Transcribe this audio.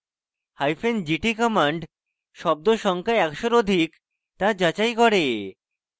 hyphen gt command শব্দ সংখ্যা একশোর অধিক তা যাচাই করে